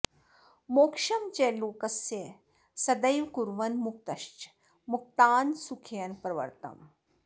मोक्षं च लोकस्य सदैव कुर्वन् मुक्तश्च मुक्तान् सुखयन् प्रवर्तताम्